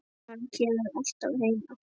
Maður kemur alltaf heim aftur